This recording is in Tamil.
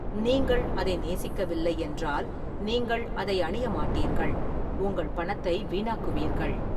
நீங்கள் அதை நேசிக்கவில்லை என்றால், நீங்கள் அதை அணிய மாட்டீர்கள், உங்கள் பணத்தை வீணாக்குவீர்கள்.